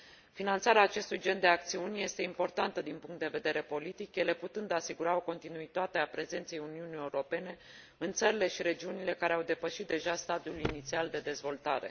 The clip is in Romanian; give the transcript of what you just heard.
Finanțarea acestui gen de acțiuni este importantă din punct de vedere politic, ele putând asigura o continuitate a prezenței Uniunii Europene în țările și regiunile care au depășit deja stadiul inițial de dezvoltare.